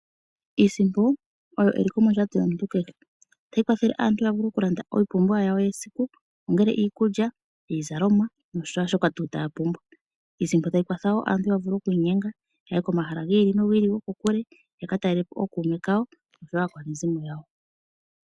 Iisimpo oyo eliko mondjato yomuntu kehe. Ohayi kwathele aantu ya vule okulanda iipupiwa yawo yesiku, ongele iikulya, iizalomwa noshaashoka tuu taya pumbwa. Iisimpo otayi kwatha wo aantu ya vule oku inyenga ya ye komahala gi ili nogi ili gokokule ya ka talelepo ookuume kawo osho wo aakwanezimo yawo.